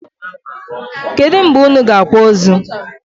Kedu mgbe unu g'akwa onu?